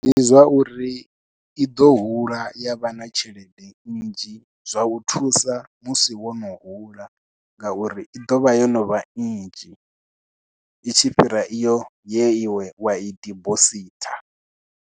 Ndi zwa uri i ḓo hula ya vha na tshelede nnzhi zwa u thusa musi wo no hula, nga uri i ḓovha yo novha nnzhi itshi fhira iyo ye iwe wa i dibositha.